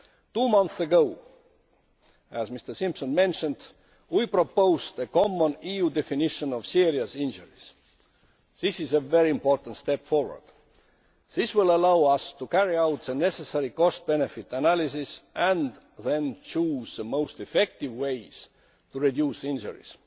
Two months ago, as Mr Simpson mentioned, we proposed a common EU definition of serious injuries. This is a very important step forward. This will allow us to carry out the necessary cost benefit analysis and then choose the most effective ways to reduce injuries.